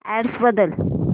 address बदल